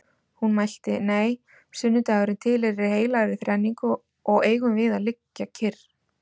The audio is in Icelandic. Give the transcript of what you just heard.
Hún mælti: Nei, sunnudagurinn tilheyrir heilagri þrenningu og eigum við að liggja kyrr